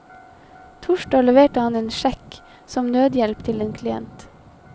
Torsdag leverte han en sjekk som nødhjelp til en klient.